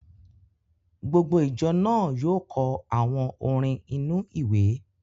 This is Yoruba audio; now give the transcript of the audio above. Gbogbo ìjọ náà yóò kọ àwọn orin inú-ìwé